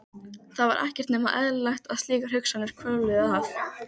Það var ekki nema eðlilegt að slíkar hugsanir hvörfluðu að